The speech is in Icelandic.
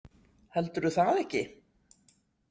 Heldurðu það ekki?